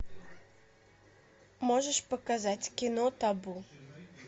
можешь показать кино табу